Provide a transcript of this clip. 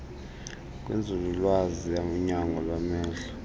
kwinzululwazi yonyango lwamehlo